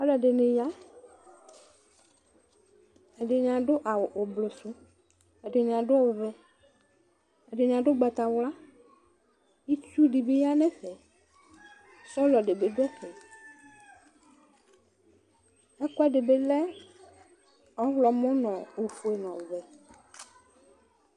alʋɛdini ya ɛdini adʋ awʋ ʋblʋsʋ ɛdini adʋ ɔvɛ ɛdini adʋ ʋgbatawla itsʋʋ dibi yanʋ ɛƒɛ sɔlɔ dibi dʋ ɛƒɛ ɛkʋɛdibi lɛ oƒʋe nʋ ɔvɛ